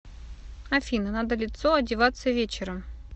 афина надо лицо одеваться вечером